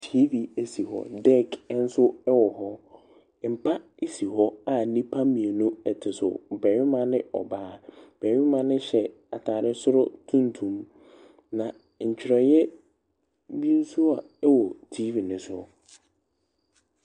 Tv si hɔ, deck nso wɔ hɔ, mpa si hɔ a nnipa mmienu te so, barima ne ɔbaa, barima no hyɛ ataadeɛ soro tuntum, na ntwerɛeɛ bi nso a ɛwɔ TV ne so.